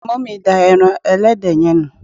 mummy da eran ẹlẹdẹ yen ni